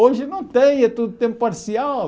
Hoje não tem, é tudo tempo parcial.